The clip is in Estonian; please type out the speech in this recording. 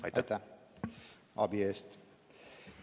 Ma väga tänan abi eest!